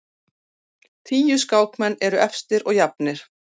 Tíu skákmenn efstir og jafnir